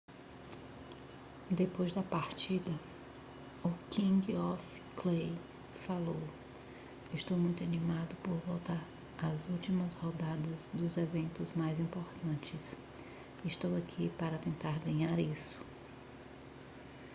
depois da partida o king of clay falou estou muito animado por voltar para as últimas rodadas dos eventos mais importantes estou aqui para tentar ganhar isso